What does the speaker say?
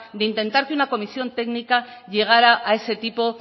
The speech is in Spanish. de intentar que una comisión técnica llegara a ese tipo